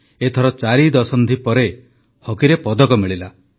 ଏଥର ଚାରି ଦଶନ୍ଧି ପରେ ହକିରେ ପଦକ ମିଳିଲା